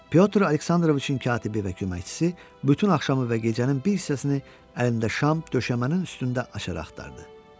Pyotr Aleksandroviçin katibi və köməkçisi bütün axşamı və gecənin bir hissəsini əlində şam döşəmənin üstündə açar axtardı.